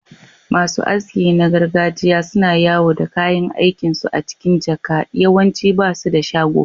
Masu aski na gargajiya suna yawo da kayan aikinsu a cikin jaka, yawanci ba su da shago.